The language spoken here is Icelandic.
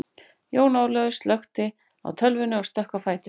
Jón Ólafaur slökkti á tölvunni og stökk á fætur.